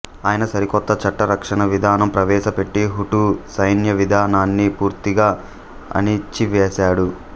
ఆయన సరికొత్త చట్టరక్షణ విధానం ప్రవేశపెట్టి హుటూ సైన్యవిధానాన్ని పూర్తిగా అణిచివేసాడు